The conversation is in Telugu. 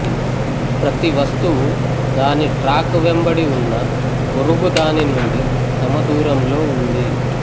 ప్రతి వస్తువు దాని ట్రాక్ వెంబడి వున్న పొరుగుదాని నుండి సమ దూరంలో వుంది